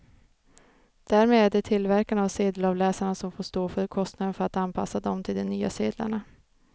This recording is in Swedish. Därmed är det tillverkarna av sedelavläsarna som får stå för kostnaden för att anpassa dem till de nya sedlarna.